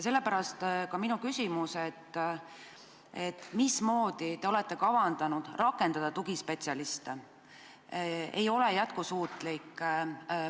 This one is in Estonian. Sellepärast ka minu küsimus: mismoodi te olete kavandanud tugispetsialiste rakendada?